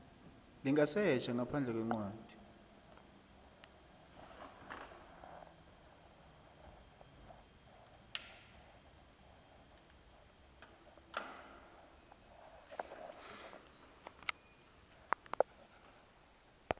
lingasetjha ngaphandle kwencwadi